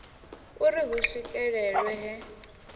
u ri hu swikelelwe he